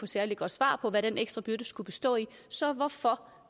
særlig godt svar på hvad den ekstra byrde skulle bestå i så hvorfor